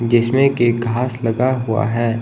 जिसमें कि घास लगा हुआ है।